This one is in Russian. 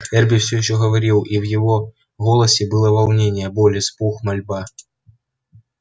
эрби все ещё говорил и в его голосе было волнение боль испуг мольба